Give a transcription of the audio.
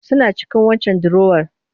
Suna cikin waccan dirowar